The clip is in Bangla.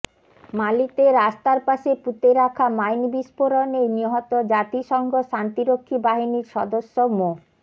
মালিতে রাস্তার পাশে পুঁতে রাখা মাইন বিস্ফোরণে নিহত জাতিসংঘ শান্তিরক্ষী বাহিনীর সদস্য মো